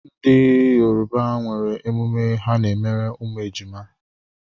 Ndị Yoruba nwere emume ha n'emere ụmụ ejima.